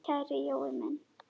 Kæri Jói minn.